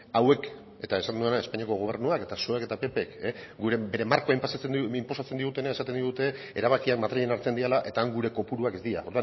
hauek eta esan dudana espainiako gobernuak eta zuek eta ppk bere markoen inposatzen digutena esaten digute erabakiak madrilen hartzen direla eta han gure kopuruak ez dira